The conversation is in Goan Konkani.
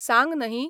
सांग नही?